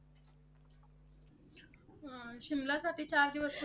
शिमल्यासाठी चार दिवस?